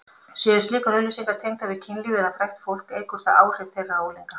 Séu slíkar auglýsingar tengdar við kynlíf eða frægt fólk eykur það áhrif þeirra á unglinga.